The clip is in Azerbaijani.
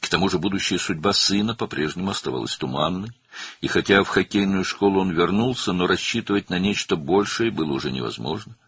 Bundan əlavə, oğlunun gələcək taleyi əvvəlki kimi qeyri-müəyyən qalırdı və o, hokkey məktəbinə qayıtsa da, daha böyük bir şeyə ümid etmək artıq mümkün deyildi.